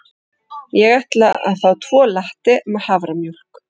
Ég ætla að fá tvo latte með haframjólk.